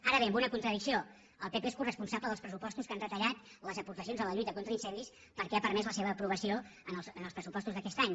ara bé amb una contradicció el pp és coresponsable dels pressupostos que han retallat les aportacions a la lluita contra incendis perquè ha permès la seva aprovació en els pressupostos d’aquest any